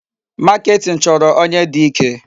Marketing chọrọ onye dị ike.